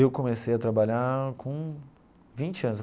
Eu comecei a trabalhar com vinte anos.